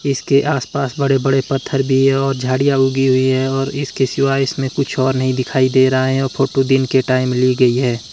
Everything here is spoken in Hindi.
इसके आस पास बड़े बड़े पत्थर भी हैं और झाड़ियां उगी हुई हैं और इसके शिवाय इसमें कुछ और नहीं दिखाई दे रहा है और फोटो दिन के टाइम ली गई है।